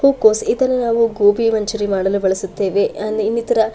ಹೂವು ಕೋಸ್ ಇದನ್ನ ನಾವು ಗೋಬಿ ಮಂಚೂರಿಯನ್ನ ಮಾಡಲು ಬಳಸುತ್ತೇವೆ ಅನ್ ಈನಿತರ --